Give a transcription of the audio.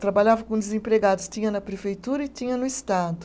Trabalhavam com desempregados, tinha na prefeitura e tinha no estado.